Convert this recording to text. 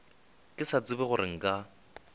ke sa tsebe gore nka